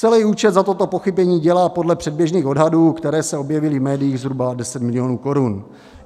Celý účet za toto pochybení dělá podle předběžných odhadů, které se objevily v médiích, zhruba 10 milionů korun.